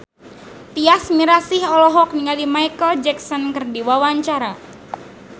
Tyas Mirasih olohok ningali Micheal Jackson keur diwawancara